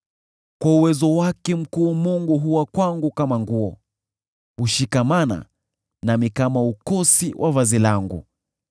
Kwa uwezo wake mkuu Mungu huwa kwangu kama nguo; hushikamana nami kama ukosi wa vazi langu.